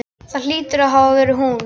Það hlýtur að hafa verið hún.